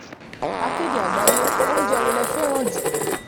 akéde àgbáyé oúnjẹ wo lẹ fẹ́ràn jù